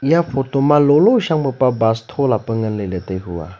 eya photo ma lolo shang pa bus thola pa nganley ley tai hua.